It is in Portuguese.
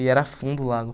E era fundo o lago.